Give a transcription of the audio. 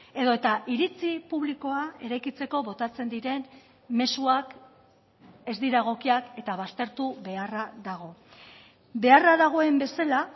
edota iritzi publikoa eraikitzeko botatzen diren mezuak ez dira egokiak eta baztertu beharra dago beharra dagoen bezala